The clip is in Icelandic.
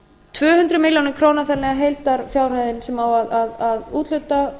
tvö hundruð milljóna króna þannig að heildarfjárhæðin sem á að úthluta